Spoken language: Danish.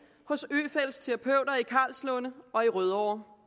hos øfeldts terapeuter i karlslunde og i rødovre